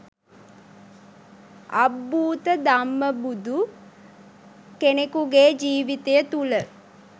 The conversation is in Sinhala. අබ්භූත ධම්මබුදු කෙනකුගේ ජීවිතය තුළ